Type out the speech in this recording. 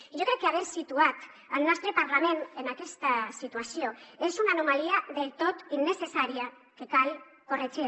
jo crec que haver situat el nostre parlament en aquesta situació és una anomalia del tot innecessària que cal corregir